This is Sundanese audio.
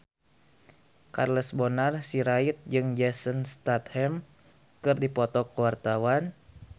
Charles Bonar Sirait jeung Jason Statham keur dipoto ku wartawan